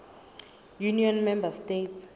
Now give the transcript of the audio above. union member states